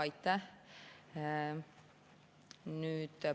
Aitäh!